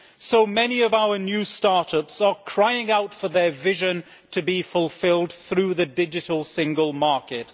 So many of our new start ups are crying out for their vision to be fulfilled through the Digital Single Market.